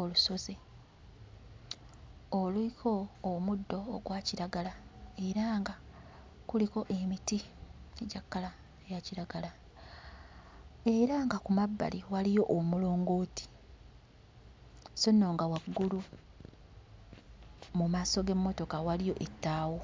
olusozi oluliko omuddo ogwa kiragala era nga kuliko emiti egya kkala eya kiragala era nga ku mabbali waliyo omulongooti sso nno nga waggulu mu maaso g'emmotoka waliyo ettaawo.